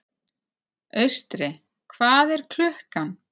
Austri, hvað er klukkan?